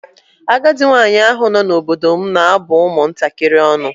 Agadi nwaanyị ahụ nọ n'obodo m na-abụ ụmụ ntakịrị ọnụ.